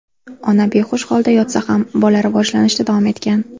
Ona behush holda yotsa ham, bola rivojlanishda davom etgan.